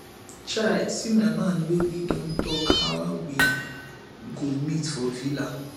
chai see my man wey we don talk how we go meet for villa